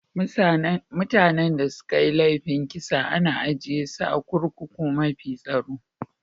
Mutani da sun yi laifin kisa ana ajie su a'kurkukun mafi tsaro.